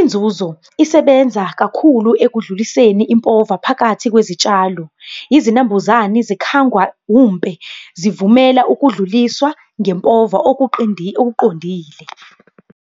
Inzuzo isebenza kakhulu ekudluliseni impova phakathi kwezitshalo, izinambuzane zikhangwa umpe, zivumela ukudluliswa ngempova okuqondile.